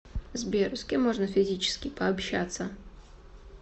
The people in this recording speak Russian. сбер с кем можно физически пообщаться